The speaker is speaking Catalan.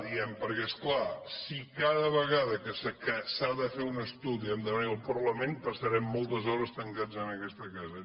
diem perquè és clar si cada vegada que s’ha de fer un estudi hem de venir al parlament passarem moltes hores tancats en aquesta casa